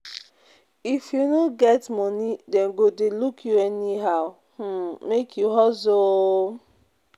If you no get moni, dem go dey look you anyhow, um make you hustle o.